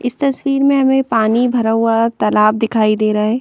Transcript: इस तस्वीर में हमें पानी भरा हुआ तालाब दिखाई दे रहा है।